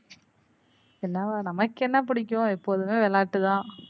என்னவா நமக்கு என்ன பிடிக்கும் எப்போதுமே விளையாட்டு தான்.